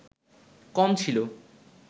কম ছিল